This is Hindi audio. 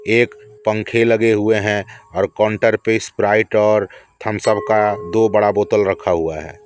एक पंखे लगे हुए हैं और काउंटर पे स्प्राइट और थम्सअप का दो बड़ा बोतल रखा हुआ है।